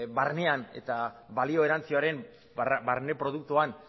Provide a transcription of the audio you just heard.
barnean eta balio erantsiaren barne produktuan